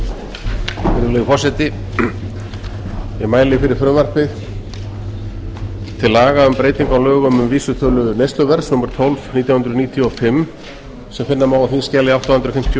virðulegi forseti ég mæli fyrir frumvarpi til laga um breyting á lögum um vísitölu neysluverðs númer tólf nítján hundruð níutíu og fimm sem finna má á þingskjali átta hundruð fimmtíu og